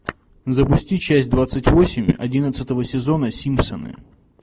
запусти часть двадцать восемь одиннадцатого сезона симпсоны